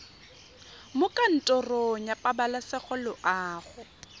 mo kantorong ya pabalesego loago